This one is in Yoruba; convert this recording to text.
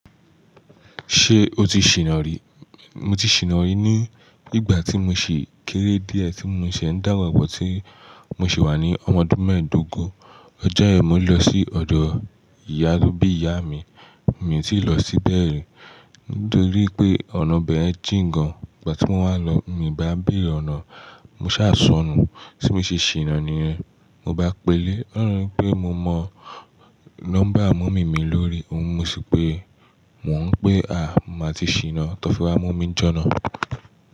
Ṣé o ti ṣìná rí? Mo ti ṣìná rí ní ìgbà tí mo ṣi kéré díẹ̀ tí mo ṣe ń dàgbà bọ̀ tí mo sì wà ní ọmọ ọdún mẹ́ẹ̀ẹ́dógún. Ọjọ́ yẹn mo lọ sí ọ̀dọ̀ ìyá tó bí ìyá mi, mi tì lọ síbẹ̀ ri nítorí pé ọ̀nà bẹ̀yẹ̀n jíǹgàn. Ìgbà tí mo wá lọ, mi ò bá béèrè ọ̀nà, mo sá sọnù. Tí mo ṣe ṣìná ni yẹ̀n, mo bá pèlè. Ọlọrun lo nipé mo mọ nọ́mbà mọ̀mí mi lórí ohun, mo sì pé mò ń pè a, mo máa ti ṣìná. Tọ́ fi wa mumí jọ́nà.